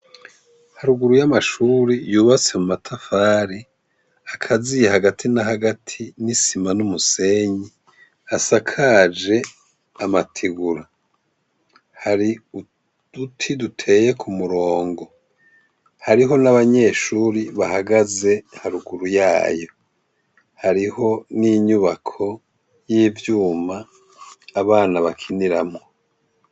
Haruguru yamashure yubatse mumatafari akaziye Hagati na Hagati nisima numusenyi hasakaje amategura hari uduti duteye kumurongo hariho nabanyeshure bahagaze haruguru yayo hariho ninyubako yivyuma abana bakiniramwo.